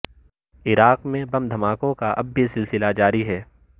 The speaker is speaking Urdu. عراقی میں بم دھماکوں کا اب بھی سلسلہ جاری ہے